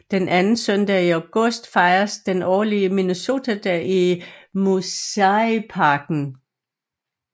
Den anden søndag i august fejres den årlige Minnesotadag i Museiparken